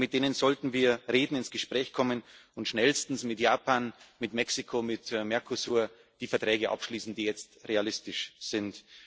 Mit denen sollten wir reden, ins Gespräch kommen und schnellstens mit Japan, mit Mexiko, mit dem Mercosur die Verträge abschließen, die jetzt realistisch sind.